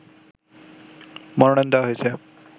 মনোনয়ন দেয়া হয়েছে